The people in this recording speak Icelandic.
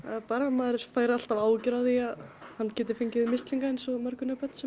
maður fær alltaf áhyggjur af því að hann geti fengið mislinga eins og mörg önnur börn sem